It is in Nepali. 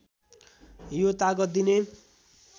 यो तागत दिने